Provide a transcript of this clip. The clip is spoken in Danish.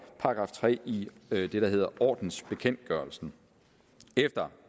§ tre i det der hedder ordensbekendtgørelsen efter